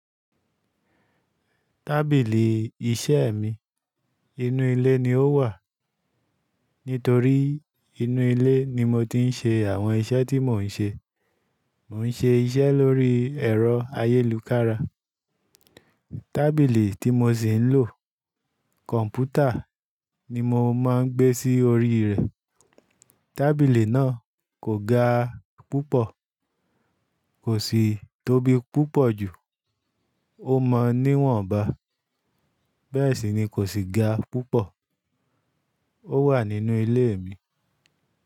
Tábìlì iṣẹ́ mi inú ilé ni ó wà. Nítorí inú ilé ni mo ti ń ṣe àwọn iṣẹ́ tí mò ń ṣe. Mo ń ṣe iṣẹ́ lórí ẹ̀rọ ayélujára. Tábìlì tí mo ṣì ń lò kọ̀npútà ni mo máa ń gbé sí orí rẹ̀. Tábìlì náà kò ga púpọ̀, kò sì tóbi púpọ̀ jù. Ó mọ níwọ̀n ba, bẹ́ẹ̀ sì ni kò sì ga púpọ̀. Ó wà nínú ilé mi.